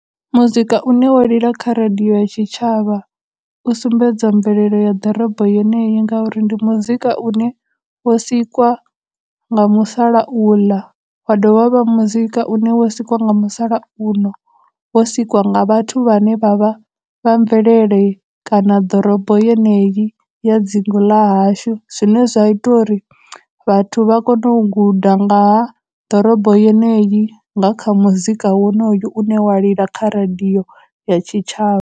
Muzika u ne wa lila kha radio ya tshitshavha, u sumbedza mvelelo ya ḓorobo yeneyi ngauri ndi muzika u ne wo sikwa nga musalauḽa, wa dovha wa vha muzika u ne wo sikwa nga musalauno, wo sikwa nga vhathu vhane vha vha vha mvelele kana ḓorobo yeneyi ya dzingu ḽashu, zwine zwa ita uri vhathu vha kone u guda nga ha ḓorobo yeneyi nga kha muzika wonoyu u ne wa lila kha radio ya tshitshavha.